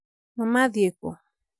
maama athiĩ kũ?